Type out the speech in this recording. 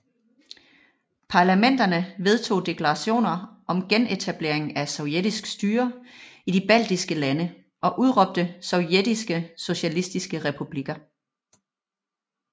Parlamenterne vedtog deklarationer om genetablering af sovjetisk styre i de baltiske lande og udråbte Sovjetiske Socialistiske Republikker